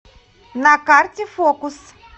на карте фокус